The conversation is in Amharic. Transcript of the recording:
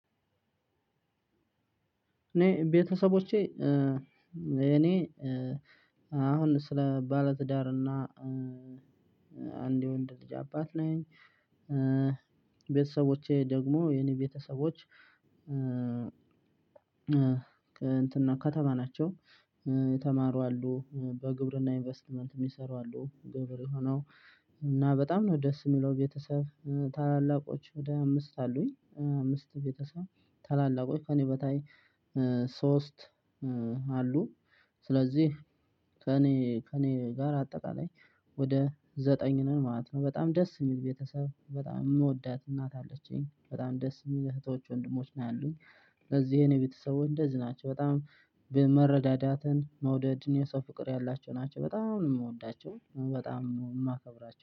እኔ ቤተሰቦቼ እኔ አሁን ስለ ባለትዳር እና አንድ የወንድ ልጅ አባት ነኝ ቤተሰቦቼ ደግሞ የኔ ቤተሰቦች እንትንነው ከተማ ናቸው። የተማሩ አሉ፣ በግብርና ኢንቨስትመንት የሚሰሩ አሉ ገበሬ ሆነው፣ እና በጣም ነው ደስ የሚለው ቤተሰብ። ታላላቆች ወደ አምስት አሉኝ አምስት ቤተሰብ ታላላቆች ከእኔ በታይ ሶስት አሉ። ስለዚህ ከእኔ ከእኔ ጋር አጠቃላይ ወደ ዘጠኝ ነን ማለት ነው። በጣም ደስ የሚል ቤተሰብ በጣም የምወዳት እናት አለችኝ። በጣም ደስ የሚል እህቶች ወንድሞች ነው ያሉኝ። ስለዚህ የኔ ቤተሰቦች እንደዚህ ናቸው በጣም መረዳዳትን መውደድን የሰው ፍቅር ያላቸው ናቸው። በጣም ነው የምወዳቸው። በጣም የማከብራቸው።